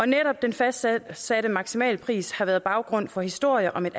netop den fastsatte fastsatte maksimalpris har været baggrund for historier om et